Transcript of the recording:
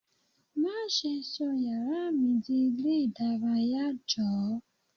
Má ṣe sọ yàrá mi di ilé ìdárayá. Jọ̀ọ́.